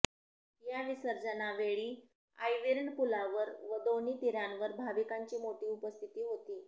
या विसर्जनावेळी आयर्विन पुलावर व दोन्ही तीरावर भाविकांची मोठी उपस्थिती होती